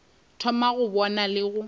thoma go bona le go